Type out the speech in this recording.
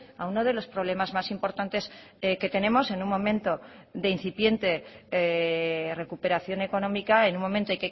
a uno de los problemas más importantes que tenemos en un momento de incipiente recuperación económica en un momento